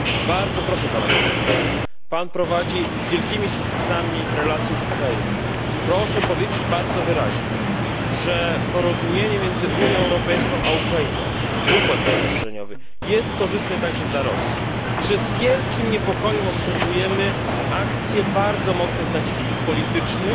Bardzo proszę pana komisarza Pan prowadzi z wielkimi sukcesami relacje z Ukrainą proszę powiedzieć bardzo wyraźnie, że porozumienie między Unią Europejską a Ukrainą, układ stowarzyszeniowy jest korzystny także dla Rosji i że z wielkim niepokojem obserwujemy akcje bardzo mocnych nacisków politycznych